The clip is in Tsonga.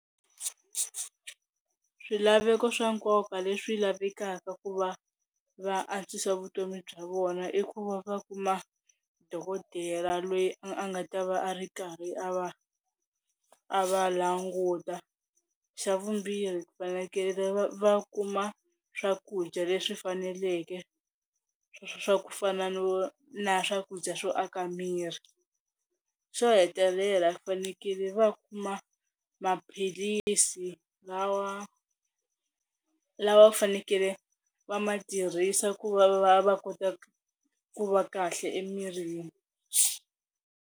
Swilaveko swa nkoka leswi lavekaka ku va va antswisa vutomi bya vona i ku va va kuma dokodela loyi a nga ta va a ri karhi a va a va languta, xa vumbirhi ku fanekele va va kuma swakudya leswi faneleke swa ku fana no na swakudya swo aka miri, xo hetelela fanekele va kuma maphilisi lawa lava va fanekele va ma tirhisa ku va va va kota ku va kahle emirini.